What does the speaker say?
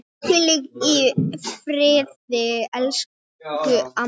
Hvíli í friði, elsku amma.